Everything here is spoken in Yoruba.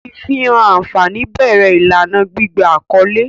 Ifihan anfani bẹrẹ ilana gbigba akọle.